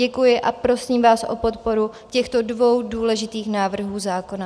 Děkuji a prosím vás o podporu těch dvou důležitých návrhů zákona.